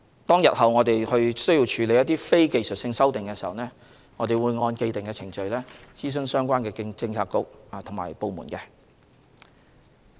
待日後我們須處理非技術性修訂時，我們會按既定程序諮詢相關政策局及部門。